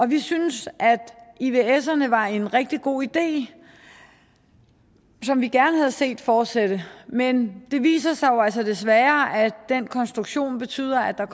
vi synes at ivserne var en rigtig god idé som vi gerne havde set fortsætte men det viser sig jo altså desværre at den konstruktion betød at der